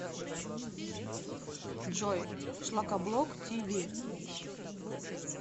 джой шлакоблок ти ви